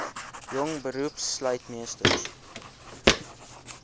jong beroepslui meesters